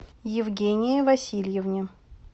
евгении васильевне